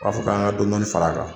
K'a fɔ k'an ka dɔɔni dɔɔni fara a kan.